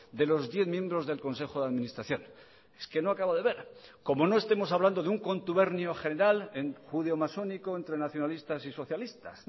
de los diez miembros del consejo de administración es que no acabo de ver como no estemos hablando de un contubernio general en judeomasónico entre nacionalistas y socialistas